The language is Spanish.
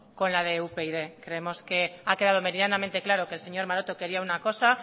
con la de upyd creemos que ha quedado medianamente claro que el señor maroto quería una cosa